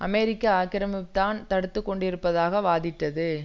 அமெரிக்க ஆக்கிரமிப்புத்தான் தடுத்து கொண்டிருப்பதாக வாதிட்டது